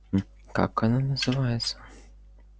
как она называется